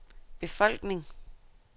befolkning